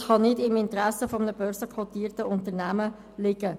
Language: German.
Das kann jedoch nicht im Interesse eines börsenkotierten Unternehmens liegen.